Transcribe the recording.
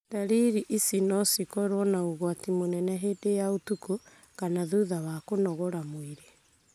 Dariri ici no cĩkorwo na ũgwati mũnene hĩndĩ ya ũtuko kana thutha wa kũnogora mwĩrĩ.